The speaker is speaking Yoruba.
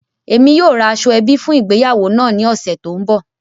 Emi yóò ra aṣoẹbi fun ìgbéyàwó naa ni ọsẹ to nbọ.